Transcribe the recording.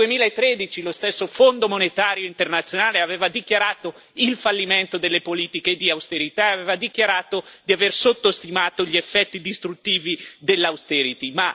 Nel 2013 lo stesso Fondo monetario internazionale aveva dichiarato il fallimento delle politiche di austerità, aveva dichiarato di aver sottostimato gli effetti distruttivi dell' austerity